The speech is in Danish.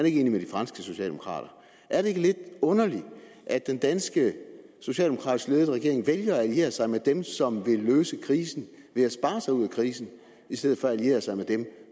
ikke enig med de franske socialdemokrater er det ikke lidt underligt at den danske socialdemokratisk ledede regering vælger at alliere sig med dem som vil løse krisen ved at spare sig ud af krisen i stedet for at alliere sig med dem